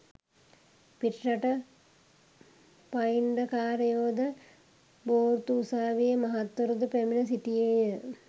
පිටරට පයිංඩකාරයෝ ද, බෝර්තු උසාවියේ මහත්වරු ද පැමිණ සිටියේ ය.